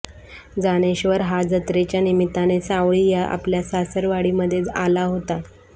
जानेश्वर हा जत्रेच्या निमित्ताने सावळी या आपल्या सासरवाडीमध्ये आला होता